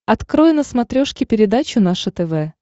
открой на смотрешке передачу наше тв